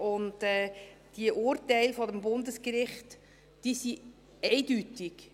Diese Urteile des Bundesgerichts sind eindeutig.